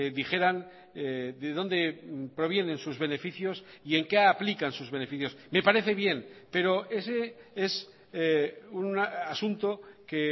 dijeran de dónde provienen sus beneficios y en qué aplican sus beneficios me parece bien pero ese es un asunto que